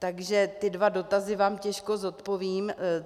Takže ty dva dotazy vám těžko zodpovím.